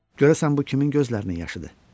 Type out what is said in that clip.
Görəsən bu kimin gözlərinin yaşıdır?